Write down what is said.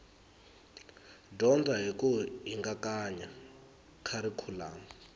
dyondza hi ku hingakanya kharikhulamu